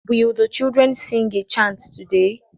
Will the children sing a chant today?